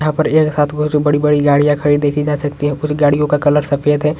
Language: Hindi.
यहाँ पर एक साथ बड़ी-बड़ी गाड़ियां खड़ी देखि जा सकती हैं पूरी गाड़ियों का कलर सफ़ेद है।